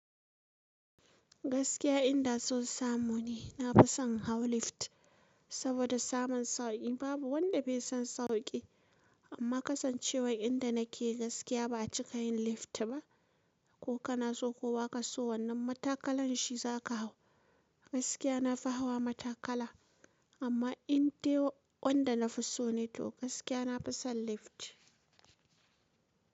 Gaskiya in da so su samu ne, na fi son hau lift saboda samun sauki. Babu wanda bai sun sauƙi, amma kasancewar inda nake gaskiya ba a cika yin lift ba. Ko kana so ko ba ka so wannan matakalan shi za ka hau. Gaskiya na fi hawa matakala, amma in dai wanda na fi so ne to gaskiya na fi son lift.